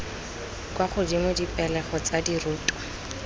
kwa godimo dipegelo tsa dirutwa